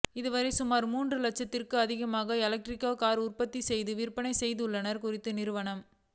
இதுவரை சுமார் மூன்று இலட்சத்திற்கும் அதிகமான எலக்ட்ரிக் கார்களை உற்பத்தி செய்து விற்பனை செய்துள்ளது குறித்த நிறுவனம்